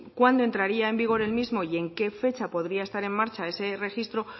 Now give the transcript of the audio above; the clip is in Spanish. cuándo entraría en vigor el mismo y en qué fecha podría estar en marcha ese registro